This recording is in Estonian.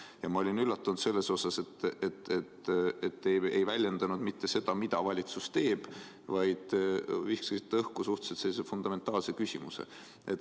Ja ma olin üllatunud, et te ei väljendanud mitte seda, mida valitsus teeb, vaid viskasite õhku sellise fundamentaalse küsimuse.